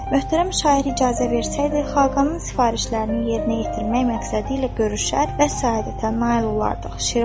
Möhtərəm şair icazə versəydi, Xaqanın sifarişlərini yerinə yetirmək məqsədilə görüşər və səadətə nail olardıq.